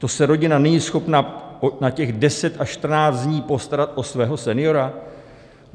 To se rodina není schopna na těch 10 až 14 dní postarat o svého seniora?